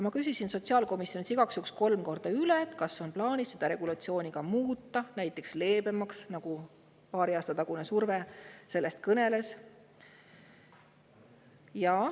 Ma küsisin sotsiaalkomisjonis igaks juhuks kolm korda üle, kas on plaanis seda regulatsiooni muuta, näiteks leebemaks, nagu paari aasta tagune surve sellest kõneles.